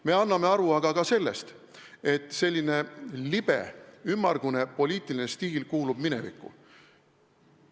Me anname aga aru ka sellest, et selline libe ja ümmargune poliitiline stiil kuulub minevikku.